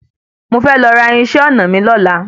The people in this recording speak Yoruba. Mo fe lọ ra irinṣẹ́ ọnà mí lọ́la.